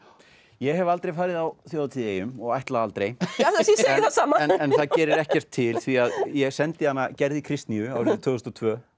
ég hef aldrei farið á þjóðhátíð í eyjum og ætla aldrei ég segi það sama en það gerir ekkert til því ég sendi Gerði Kristnýju árið tvö þúsund og tvö